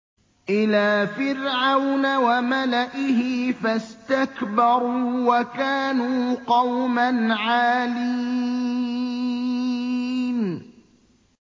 إِلَىٰ فِرْعَوْنَ وَمَلَئِهِ فَاسْتَكْبَرُوا وَكَانُوا قَوْمًا عَالِينَ